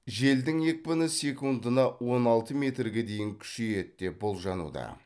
желдің екпіні секундына он алты метрге дейін күшейеді деп болжануда